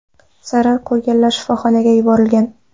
Zarar ko‘rganlar shifoxonaga yuborilgan.